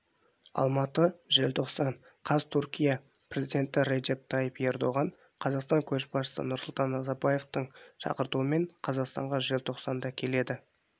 алматы желтоқсан қаз түркия президенті реджеп тайип эрдоган қазақстан көшбасшысы нұрсұлтан назарбаевтың шақыртуымен қазақстанға желтоқсанда келеді